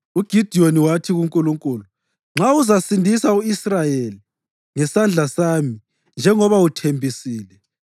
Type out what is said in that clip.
UGidiyoni wathi kuNkulunkulu, “Nxa uzasindisa u-Israyeli ngesandla sami njengoba uthembisile,